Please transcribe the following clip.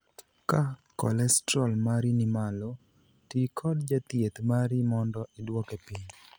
Ka kolestrol mari ni malo, tii kod jathieth mari mondo iduoke piny.